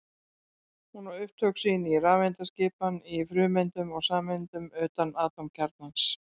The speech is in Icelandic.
Hún á upptök sín í rafeindaskipan í frumeindum og sameindum utan atómkjarnans.